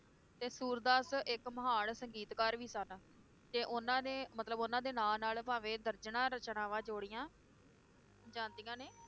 ਤੇ ਸੂਰਦਾਸ ਇਕ ਮਹਾਨ ਸੰਗੀਤਕਾਰ ਵੀ ਸਨ ਤੇ ਉਹਨਾਂ ਨੇ ਮਤਲਬ ਉਹਨਾਂ ਦੇ ਨਾਂ ਨਾਲ ਭਾਵੇ ਦਰਜਨਾਂ ਰਚਨਾਵਾਂ ਜੋੜੀਆਂ ਜਾਂਦੀਆਂ ਨੇ